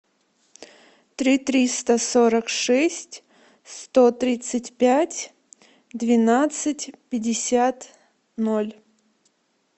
три триста сорок шесть сто тридцать пять двенадцать пятьдесят ноль